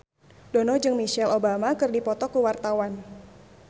Dono jeung Michelle Obama keur dipoto ku wartawan